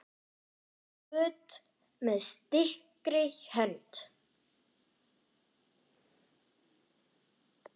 Bætum göt með styrkri hönd.